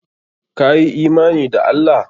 Ka yi imani da Allah?